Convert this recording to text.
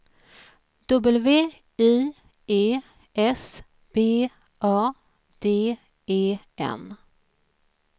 W I E S B A D E N